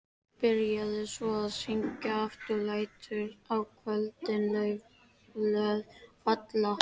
Byrjaði svo að syngja aftur: LÆTUR Á KVÖLDIN LAUFBLÖÐ FALLA.